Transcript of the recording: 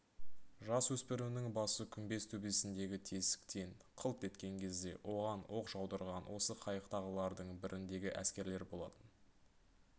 жасөспірімнің басы күмбез төбесіндегі тесіктен қылт еткен кезде оған оқ жаудырған осы қайықтағылардың біріндегі әскерлер болатын